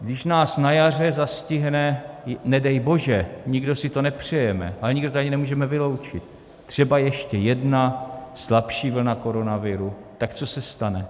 když nás na jaře zastihne - nedej bože, nikdo si to nepřejeme, ale nikdo to ani nemůžeme vyloučit - třeba ještě jedna slabší vlna koronaviru, tak co se stane?